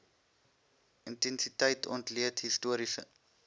intensiteit ontleed historiese